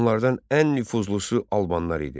Onlardan ən nüfuzlusu Albanlar idi.